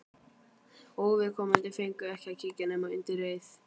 Óviðkomandi fengu ekki að kíkja nema undir eið.